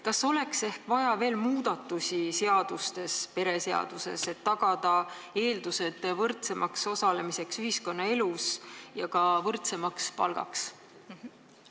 Kas oleks ehk vaja veel muudatusi seadustes, näiteks perekonnaseaduses, et tagada eeldused võrdsemaks osalemiseks ühiskonnaelus ja ka võrdsemaks palgaks?